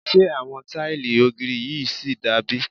Ṣé àwọn tíìlì ògiri yìí ṣì da bí?